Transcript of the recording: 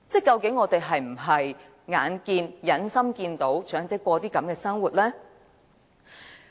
究竟我們是否忍心看到長者過着這種生活呢？